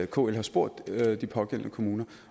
kl spurgt de pågældende kommuner